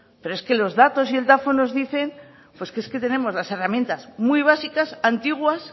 pero es que los datos y el dafo nos dicen pues que es que tenemos las herramientas muy básicas antiguas